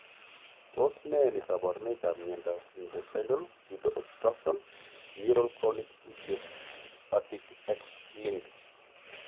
Tos ne kabarunoikap miondop intestinal pseudoobstruction neuronal chronic idiopathic x linked?